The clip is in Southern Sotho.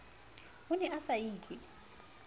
o ne a sa itlwe